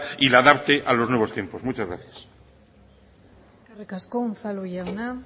y la adapte a los nuevos tiempos muchas gracias eskerrik asko unzalu jauna